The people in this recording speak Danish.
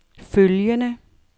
følgende